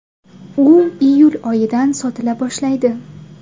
U iyul oyidan sotila boshlaydi.